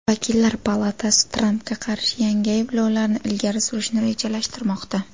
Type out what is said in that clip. Vakillar palatasi Trampga qarshi yangi ayblovlarni ilgari surishni rejalashtirmoqda.